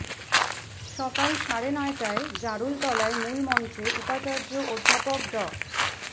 সকাল সাড়ে নয়টায় জারুল তলায় মূল মঞ্চে উপাচার্য অধ্যাপক ড